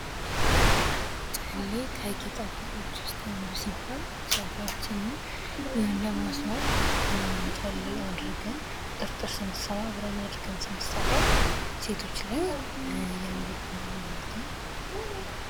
ጨሌ ከጌጣጌጥ አይነቶች ውስጥ አንዱ ሲሆን የፀጉራችንን ለማስዋብ ጨሌ አድርገን ቁጥርጥር ስንሰራ አብረን አድርገን ስንሰራው ሴቶች ላይ ያምርብናል ማለት ነው።